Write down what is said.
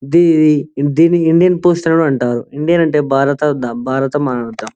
ఇది Indian post అంటారు India అంటే భారతమాత .